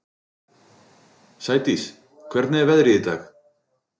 Sædís, hvernig er veðrið í dag?